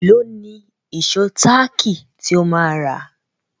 Èló ni ìṣó táàkì tí ó máa rà?